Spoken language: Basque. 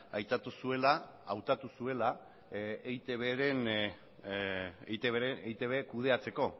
aitatu zuela eitb kudeatzeko